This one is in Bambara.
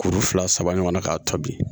Kuru fila saba ɲɔgɔn na k'a tobi